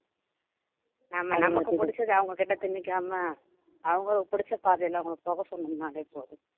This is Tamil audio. ஆமா நமக்கு பிடிச்சதை அவங்ககிட்ட திணிக்காமல் அவங்களுக்கு பிடிச்ச பாதையில அவங்களை போக சொன்னோம்ன்னாலே போதும்